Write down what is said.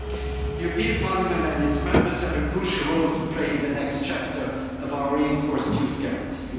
The European Parliament and its Members have a crucial role to play in the next chapter of our reinforced Youth Guarantee.